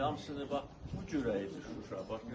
İndi hamısını bax bu cürə idi Şuşa.